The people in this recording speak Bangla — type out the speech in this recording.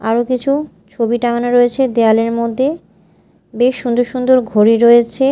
আরো কিছু ছবি টাঙানো রয়েছে দেয়ালের মধ্যে বেশ সুন্দর সুন্দর ঘড়ি রয়েছে।